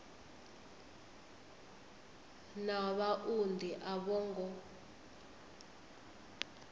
na vhaunḓi a vho ngo